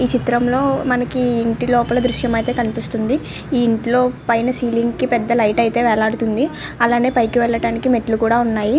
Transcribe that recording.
ఈ చిత్రం లో ఇంటి లోపల దృశ్యం అయితే కనిపిస్తూ వుంది. ఈ ఇంట్లో సిలింగ్ కి పేద లైట్ అయతె వేలాడదీసి ఉంది. అలాగే పైకి వెళ్ళటానికి మెట్టులు కూడా వున్నాయ్.